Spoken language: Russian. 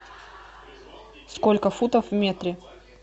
сколько футов в метре